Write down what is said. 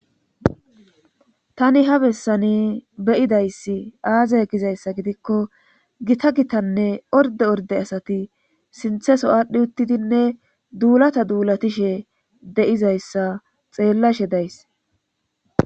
Tani ha bessani beyidayssi aazay gizayssa gidikko gita gitanne orde orde asati sintheso aadhdhi uttidinne duulata duulatishe de'izayssa xeellashe days